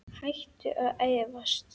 Hættu að efast!